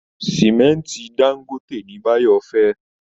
Sìmẹ́ǹtì dáńgóte ni bayo fẹ́